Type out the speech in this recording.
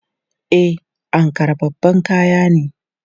E, Ankara babban kaya ne.